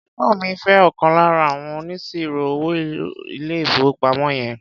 Ẹ̀gbọ́ mi ń fé ọ̀kan lára àwọn oníṣirò-owó ilé-ìfowópamọ́ yẹn.